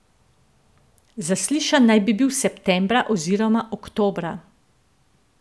Zaslišan naj bi bil septembra oziroma oktobra.